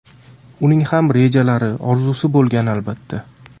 Uning ham rejalari, orzusi bo‘lgan, albatta.